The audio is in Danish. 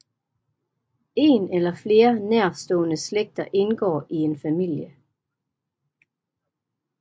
En eller flere nærstående slægter indgår i en familie